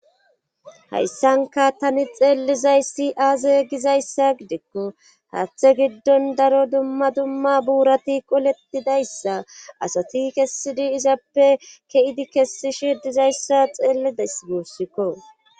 hayssanka tani xeellizaysi aaze gizayssa gidikko haathe giddon daro dumma dumma buurati qoletidayssa asati kessidi izappe ke7idi kessishe dizayssa xeellidas guussikko